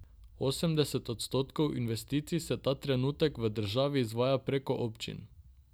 Osemdeset odstotkov investicij se ta trenutek v državi izvaja preko občin.